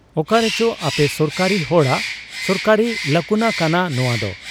ᱚᱠᱟᱨᱮᱪᱚ ᱟᱯᱮ ᱥᱚᱨᱠᱟᱨᱤ ᱦᱚᱲᱟᱜ ᱥᱚᱨᱠᱟᱨᱤ ᱞᱟᱠᱩᱱᱟ ᱠᱟᱱᱟ ᱱᱚᱶᱟᱫᱚ ᱾